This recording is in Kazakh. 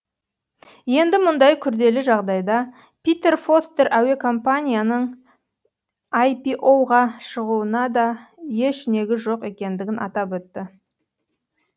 енді мұндай күрделі жағдайда питер фостер әуе компанияның айпиоуға шығуына да еш негіз жоқ екендігін атап өтті